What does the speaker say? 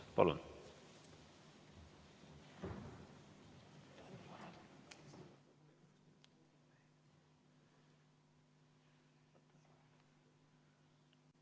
Palun!